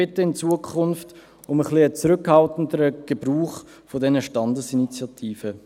Wir bitten in Zukunft um einen etwas zurückhaltenderen Gebrauch dieser Standesinitiativen.